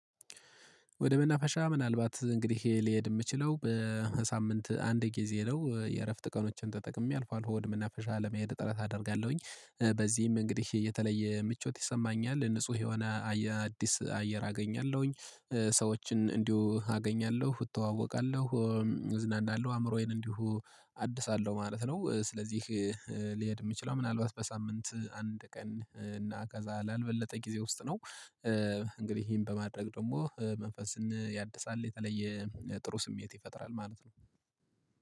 ወደ መናፈሻ ምናልባት እንግዲህ ልሄድ ምችለው በሳምንት አንድ ጊዜ ነው የእረፍት ቀኖችን ተጠቅሜ አልፎ አልፎ ወደ መናፈሻ ለመሄድ ጥረት አደርጋለሁኝ በዚህም እንግዲህ የተለየ ምቾት ይሰማኛል ንጹህ የሆነ አዲስ አየር አገኛለሁኝ ሰዎችን እንዲሁ አገኛለሁ እተዋወቃለሁ እዝናናለው አእምሮዬን እንዲሁ አድሳለው ማለት ነው። ስለዚህ ልሄድ የምችለው ምናልባት በሳምንት አንድ ቀን እና ከዛ ላልበለጠ ጊዜ ውስጥ ነው። እንግዲህ ይሄን በማድረግ ደግሞ መንፈስን ያድሳል የተለየ ጥሩ ስሜት ይፈጥራል ማለት ነው